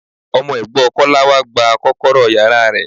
Ọmọ ẹ̀gbọ́ Kọ́lápọ̀ wá gba kọ́kọ́rọ́ yàrá rẹ̀.